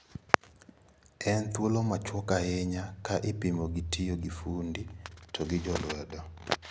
En thuolo machuok ahinya ka ipimo gi tiyo gi fundi to gi jolwedo.